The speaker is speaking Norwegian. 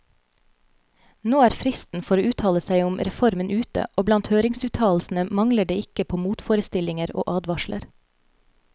Nå er fristen for å uttale seg om reformen ute, og blant høringsuttalelsene mangler det ikke på motforestillinger og advarsler.